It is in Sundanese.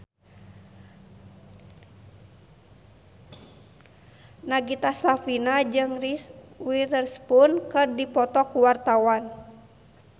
Nagita Slavina jeung Reese Witherspoon keur dipoto ku wartawan